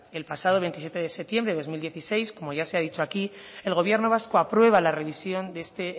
el pasado veintisiete de septiembre de dos mil dieciséis como ya se ha dicho aquí el gobierno vasco aprueba la revisión de este